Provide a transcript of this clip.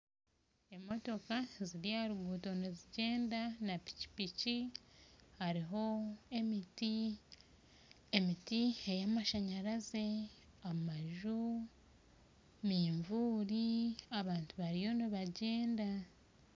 Emotooka ziri aharuguuto nizigyenda na pikipiki hariho emiti emiti eyamashanyarazi amaju manvuuri abantu bariyo nibagyenda